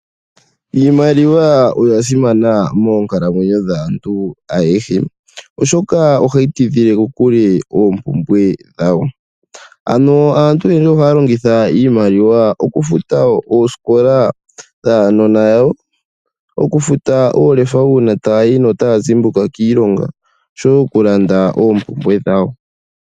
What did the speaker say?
Iimaliwa oya simana moonkalamwenyo dhaantu ayehe, oshoka ohayi tidhile kokule oompumbwe dhawo. Ano aantu oyendji ohaya longitha iimaliwa okufuta oosikola dhaanona yawo, okufuta oolefa uuna tayayi notaya zimbuka kiilonga oshowo okulanda oompumbwe dhawo.